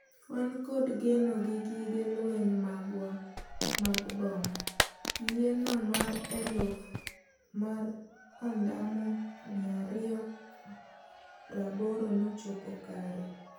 Wan kod geno gi gige lweny magwa mag bom, yie no mar eluf mar ondamo 280 nochopo kare